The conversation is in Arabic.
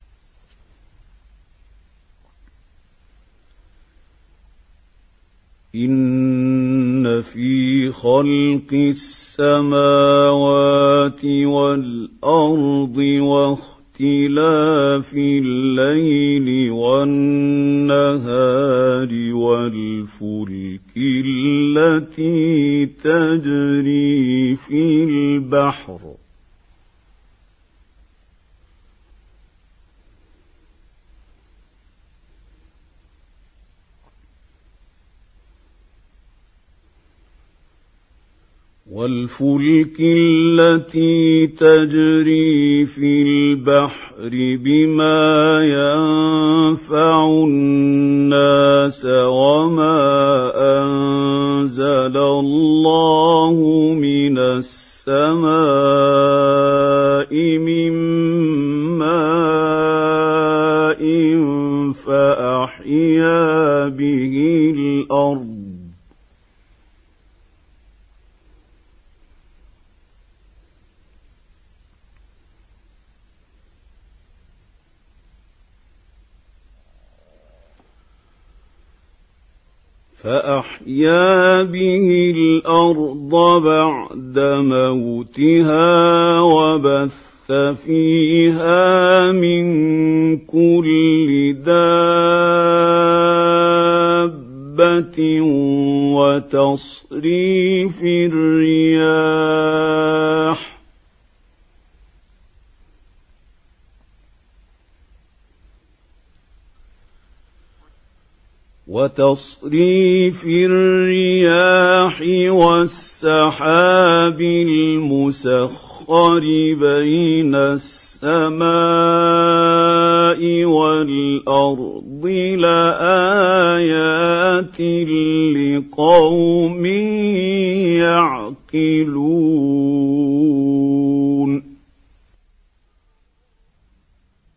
إِنَّ فِي خَلْقِ السَّمَاوَاتِ وَالْأَرْضِ وَاخْتِلَافِ اللَّيْلِ وَالنَّهَارِ وَالْفُلْكِ الَّتِي تَجْرِي فِي الْبَحْرِ بِمَا يَنفَعُ النَّاسَ وَمَا أَنزَلَ اللَّهُ مِنَ السَّمَاءِ مِن مَّاءٍ فَأَحْيَا بِهِ الْأَرْضَ بَعْدَ مَوْتِهَا وَبَثَّ فِيهَا مِن كُلِّ دَابَّةٍ وَتَصْرِيفِ الرِّيَاحِ وَالسَّحَابِ الْمُسَخَّرِ بَيْنَ السَّمَاءِ وَالْأَرْضِ لَآيَاتٍ لِّقَوْمٍ يَعْقِلُونَ